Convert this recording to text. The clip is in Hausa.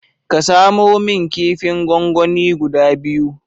Get me some two of serdine